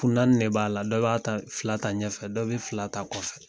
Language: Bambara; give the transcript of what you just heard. Kun naani de b'a la dɔ b'a ta fila ta ɲɛfɛ dɔ bɛ fila ta kɔfɛ